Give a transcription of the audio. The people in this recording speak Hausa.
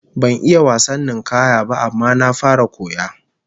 Ban iya wasan ninkaya ba, amma na fara koya